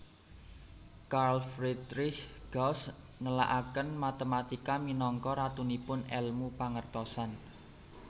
Carl Friedrich Gauss nélakaken matématika minangka Ratunipun Èlmu Pangertosan